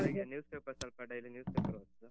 ಬೆಳಿಗ್ಗೆ news paper ಸ್ವಲ್ಪ daily news paper ಓದುದು.